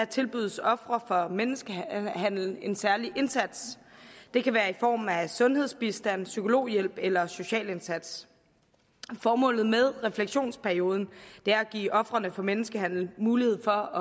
tilbydes ofre for menneskehandel en særlig indsats det kan være i form af sundhedsbistand psykologhjælp eller en social indsats formålet med refleksionsperioden er at give ofrene for menneskehandel mulighed for